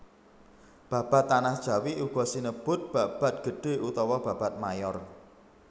Babad Tanah Jawi uga sinebut babad gedhé utawa babad mayor